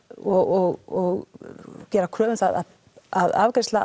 og gera kröfu um það að afgreiðsla